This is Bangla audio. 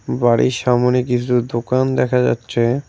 বাড়ির সামনে কিছু দোকান দেখা যাচ্ছে।